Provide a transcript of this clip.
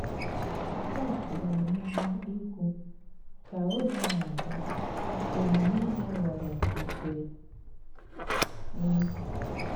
Kùrt gara n'ihu ìkwù: “Kà ògè na-aga, òmume ya ghòrọ nke m.”